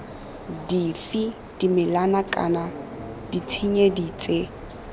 dife dimela kana ditshedinyana tse